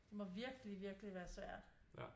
Det må virkelig virkelig være svært